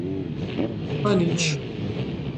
Pa nič.